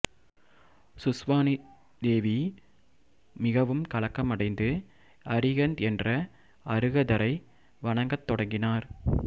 சுஸ்வானி தேவி மிகவும் கலக்கமடைந்து அரிஹந்த் என்ற அருகதரை வணங்கிய தொடங்கினார்